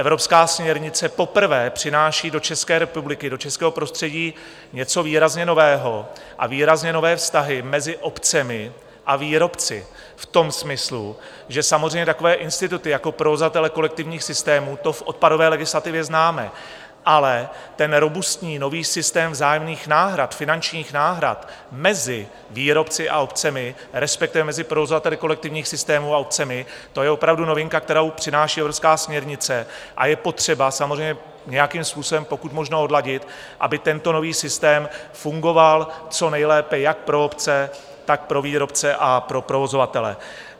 Evropská směrnice poprvé přináší do České republiky, do českého prostředí, něco výrazně nového a výrazně nové vztahy mezi obcemi a výrobci v tom smyslu, že samozřejmě takové instituty jako provozovatele kolektivních systémů, to v odpadové legislativě známe, ale ten robustní nový systém vzájemných náhrad, finančních náhrad mezi výrobci a obcemi, respektive mezi provozovateli kolektivních systémů a obcemi, to je opravdu novinka, kterou přináší evropská směrnice, a je potřeba samozřejmě nějakým způsobem pokud možno odladit, aby tento nový systém fungoval co nejlépe jak pro obce, tak pro výrobce a pro provozovatele.